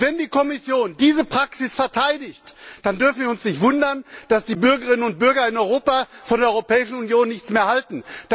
Wenn die Kommission diese Praxis verteidigt, dann dürfen wir uns nicht wundern, dass die Bürgerinnen und Bürger in Europa von der Europäischen Union nichts mehr halten.